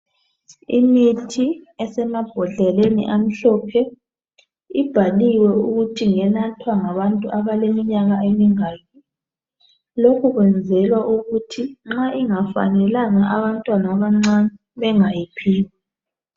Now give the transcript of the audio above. Imithi esemabodleleni amhlophe ibhaliwe ukuthi kumele inathwe ngabantu abaleminyaka emingaki lokhu kwenzelwa ukuthi nxa ingafanelanga abantwana abancane bengayiphiwa.